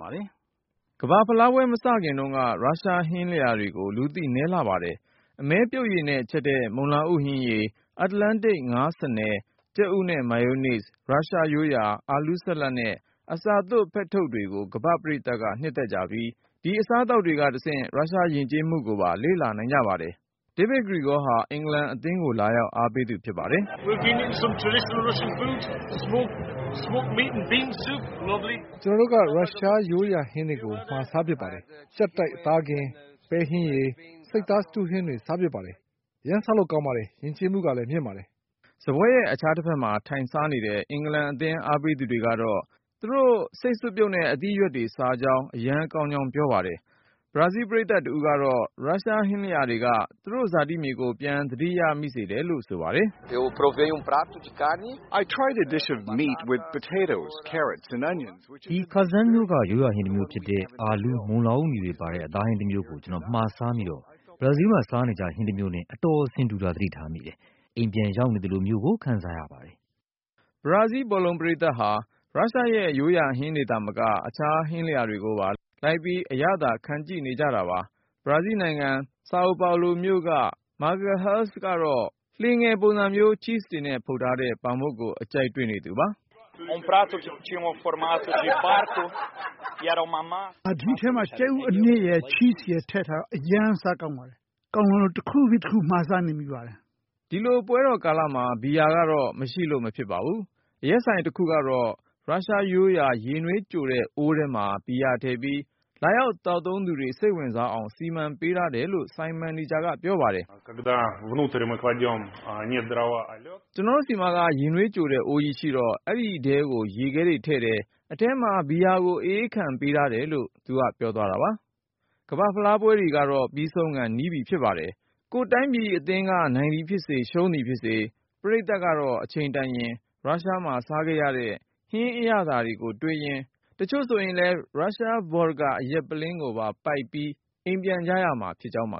ပါ။ ကမ္ဘာ့ဖလားပွဲ မစခင်တုန်းက ရုရှားဟင်းလျာတွေဟာ လူသိနည်းလှပါတယ်။ အမဲပြုတ်ရည်နဲ့ချက်တဲ့ မုန်လာဥဟင်းရည်၊ အတ္တလန်တိတ် ငါးဆားနယ်၊ ကြက်ဥနဲ့ မာယိုးနိဇ်၊ ရုရုားရိုးရာ အာလူးဆလပ်နဲ့ အစာသွပ်ဖက်ထုတ်တွေကို ကမ္ဘာ့ပရိသတ်က နှစ်သက်ကြပြီး ဒီအစားသောက် တွေကတဆင့် ရုရှားယဉ်ကျေးမှုကိုပါ လေ့လာနိုင်ကြပါတယ်။ DAVID GREGORY ဟာ အင်္ဂလန်အသင်းကို လာရောက် အားပေးသူ ဖြစ်ပါတယ်။ "ကျနော်တို့က ရုရှားရိုးရာဟင်းတွေ မှာစားဖြစ်တယ်။ ကြပ်တိုက် အသားကင်၊ ပဲစွပ်ပြုတ်၊ ဆိပ်စတူးဟင်းတွေ စားဖြစ်ပါတယ်။ အရမ်း စားကောင်းပါတယ်၊ ယဉ်ကျေးမှုကလည်း မြင့်ပါတယ်။" စားပွဲရဲ့ အခြားတဖက်မှာ ထိုင်စားနေတဲ့ အင်္ဂလန်အသင်း အားပေးသူတွေကတော့ သူတို့ ဆိပ်စွပ်ပြုတ်နဲ့ အသီးအရွက်တွေ စားကြောင်း အရမ်းကောင်းကြောင်း ပြောပါတယ်။ ဘရာဇီးပရိသတ်တဦးကတော့ ရုရှားဟင်းလျာတွေက သူ့ရဲ့ဇာတိမြေကို ပြန်သတိရစေတယ်လို့ ဆိုပါတယ်။ "ဒီ(ခါဇန်)မြို့က ရိုးရာဟင်းတမျိုးဖြစ်တဲ့ အာလူး၊ မုန်လာဥနီတွေပါတဲ့ အသားဟင်းတမျိုးကို ကျနော် မှာစားမိတော့ ဘရာဇီးမှာ စားနေကျဟင်း တမျိုးနဲ့ အတော်ဆင်တူတာ သတိထားမိပါတယ်။ အိမ်ပြန်ရောက်နေသလိုမျိုး ခံစားရပါတယ်။" ဘရာဇီးဘောလုံးပရိသတ်ဟာ ရုရှားရဲ့ရိုးရာဟင်းတွေသာမကပဲ အခြားဟင်းလျာတွေပါ လိုက်ပြီး အရသာခံကြည့်နေကြတာပါ။ ဘရာဇီးနိုင်ငံ Sao Paulo မြို့က Marcello Magalhaes ကတော့ လှေငယ်ပုံစံမျိုး ချိဇ်တွေနဲ့ ဖုတ်ထားတဲ့ ပေါင်မုန့်ကို အကြိုက်တွေ့နေသူပါ။ "ဒီထဲမှာ ကြက်ဥအနှစ်ရယ် ချိဇ်ရယ် ထည့်ထားတော့ အရမ်း စားကောင်းပါတယ်။ ကောင်းလွန်းလို့ တခုပြီးတခု မှားစားနေမိပါတယ်။" ဒီလိုပွဲတော်ကာလမှာ ဘီယာကတော့ မရှိလို့ မဖြစ်ပါဘူး။ အရက်ဆိုင်တခုတော့ ရုရှားရိုးရာ ရေနွေးကြိုတဲ့အိုးထဲမှာ ဘီယာထည့်ပြီး လာသောက်သူတွေ စိတ်ဝင်စားအောင် စီမံပေးထားတယ်လို့ ဆိုင်မန်နေဂျာကပြောပါတယ်။ "ကျနော်တို့ဆီမှာ ရေနွေးကြိုတဲ့အိုးကြီးရှိတော့ အဲဒီထဲကို ရေခဲထည့်တယ်၊ အထဲမှာ ဘီယာကို အအေးခံတယ်။" ကမ္ဘာ့ဖလားပွဲတွေ ပြီးဆုံးခါ နီးပြီဖြစ်ပါတယ်။ ကိုယ့်တိုင်းပြည် အသင်းက နိုင်သည်ဖြစ်စေ ရှုံးသည်ဖြစ်စေ၊ ပရိသတ်ကတော့ အချိန်တန်ရင် ရုရှားမှာစားခဲ့ရတဲ့ ဟင်းအရသာကိုတွေးရင်း၊ တချို့လည်း ရုရှား vodka အရက်ပုလင်းကိုပါ ပိုက်လို့ အိမ်ပြန်ကြရမှာဖြစ်ကြောင်းပါ